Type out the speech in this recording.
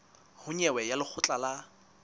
ho nyewe ya lekgotla la